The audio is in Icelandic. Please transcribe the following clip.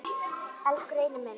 Elsku Reynir minn.